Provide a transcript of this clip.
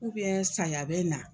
saya bɛ na.